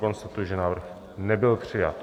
Konstatuji, že návrh nebyl přijat.